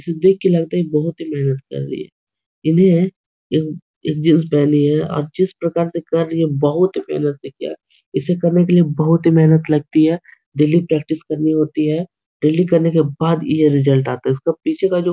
इसे देख के लगता है ये बहुत ही मेहनत कर रही है एक एक जीन्स पहनी है आप जिस प्रकार से कर रही है बहुत ही मेहनत से किया इसे करने के लिए बहुत ही मेहनत लगती है डेली प्रैक्टिस करनी होती है डेली करने के बाद ये रिजल्ट आता है इसका पीछे का जो --